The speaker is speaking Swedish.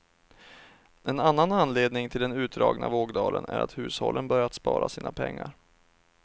En annan anledning till den utdragna vågdalen är att hushållen börjat spara sina pengar.